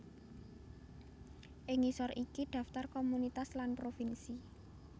Ing ngisor iki daftar komunitas lan provinsi